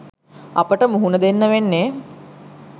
අපට මුහුණ දෙන්න වෙන්නේ